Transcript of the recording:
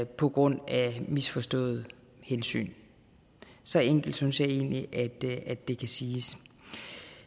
på grund af misforståede hensyn så enkelt synes jeg egentlig det kan siges